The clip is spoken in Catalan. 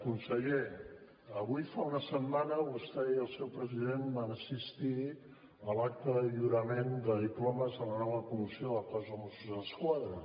conseller avui fa una setmana vostè i el seu president van assistir a l’acte de lliurament de diplomes a la nova promoció del cos de mossos d’esquadra